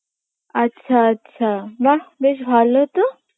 আচ্ছা আচ্ছা বাহ বেশ ভালো তো